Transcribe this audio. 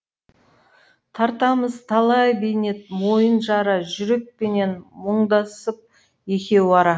тартамыз талай бейнет мойын жара жүрекпенен мұңдасып екеу ара